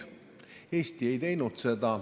Eesti seda ei teinud.